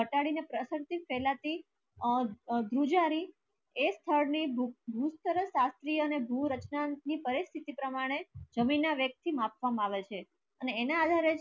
અને ઘટાડી ને પ્રસાંથિત ફૈલાતી આ દરઉજા રી ઍક સ્થળ ની ભૂસરસ્ય અને ભુ રચના ની પરિસ્થિતિ પ્રમાણે જમીન ના વ્યક્તિ માપવા માં આવે છે અને એના અધારે